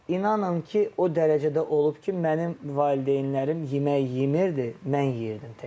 Amma inanın ki, o dərəcədə olub ki, mənim valideynlərim yemək yemirdi, mən yeyirdim təkcə.